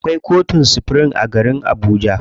Akwai kotun supirim a garib Abuja.